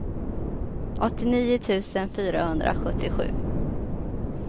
åttionio tusen fyrahundrasjuttiosju